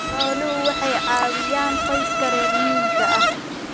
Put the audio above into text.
Xooluhu waxay caawiyaan qoysaska reer miyiga ah.